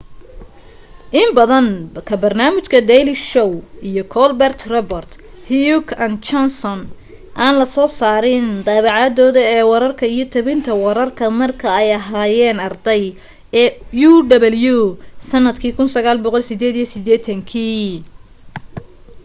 in badan ka barnaamijka daily show iyo colber report heck and johnson aan la soo saarin dabacdooda ee wararka iyo tabinta wararka marka ay aheyeen arday ee uw sanadka 1988